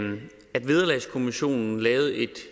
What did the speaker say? at vederlagskommissionen lavede et